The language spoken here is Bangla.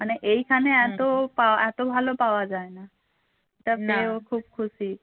মানে এইখানে এত পাওয়া এত ভালো পাওয়া যায় না সব পেয়েও খুব খুশি